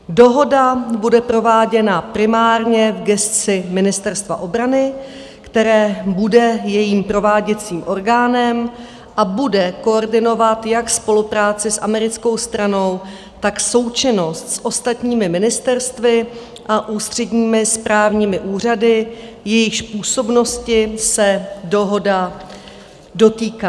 Dohoda bude prováděna primárně v gesci Ministerstva obrany, které bude jejím prováděcím orgánem a bude koordinovat jak spolupráci s americkou stranou, tak součinnost s ostatními ministerstvy a ústředními správními úřady, jejichž působnosti se dohoda dotýká.